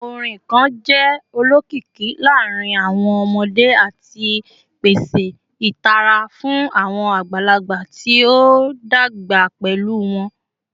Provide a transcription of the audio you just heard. Awọn orin kan jẹ olokiki laarin awọn ọmọde ati pese itara fun awọn agbalagba ti o dagba pẹlu wọn